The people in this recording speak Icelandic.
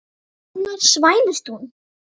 Annars slævist hún.